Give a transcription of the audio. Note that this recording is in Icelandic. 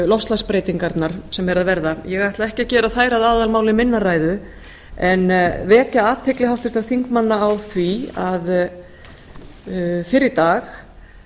loftslagsbreytingarnar sem eru að verða ég ætla ekki að gera þær að aðalmáli minnar ræðu en vekja athygli háttvirtra þingmanna á því að fyrr í dag